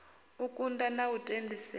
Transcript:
u kunga na u tendisea